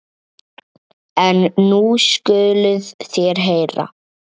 En nú skuluð þér heyra.